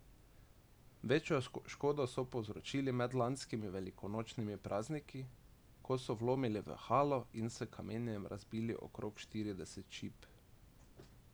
Večjo škodo so povzročili med lanskimi velikonočnimi prazniki, ko so vlomili v halo in s kamenjem razbili okrog štirideset šip.